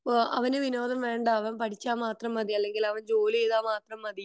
അവനു വിനോദം വേണ്ട അവൻ പഠിച്ച മാത്രം മതി അല്ലെങ്കിൽ അവൻ ജോലി ചെയ്ത മാത്രം മതി